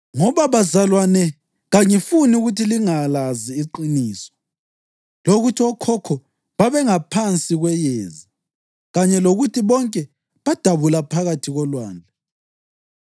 Ngoba, bazalwane, kangifuni ukuthi lingalazi iqiniso lokuthi okhokho babengaphansi kweyezi kanye lokuthi bonke badabula phakathi kolwandle.